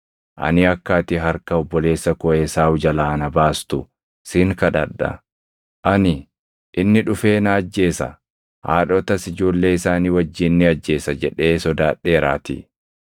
Ani akka ati harka obboleessa koo Esaawu jalaa na baastu sin kadhadha. Ani, ‘Inni dhufee na ajjeesa; haadhotas ijoollee isaanii wajjin ni ajjeesa’ jedhee sodaadheeraatii.